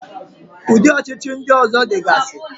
Ụdị ọchịchị ndị ọzọ dịgasi.